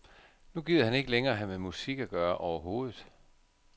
Nu gider han ikke længere have med musik at gøre overhovedet.